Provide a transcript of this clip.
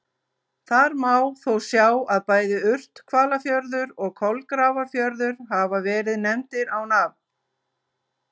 Þar má þó sjá að bæði Urthvalafjörður og Kolgrafafjörður hafa verið nefndir á nafn.